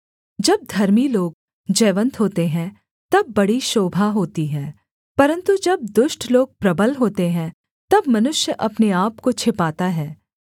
जब धर्मी लोग जयवन्त होते हैं तब बड़ी शोभा होती है परन्तु जब दुष्ट लोग प्रबल होते हैं तब मनुष्य अपने आपको छिपाता है